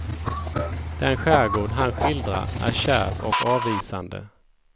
Den skärgård han skildrar är kärv och avvisande.